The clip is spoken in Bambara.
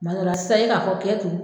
Kuma dɔ la sisan e k'a fɔ k'e tun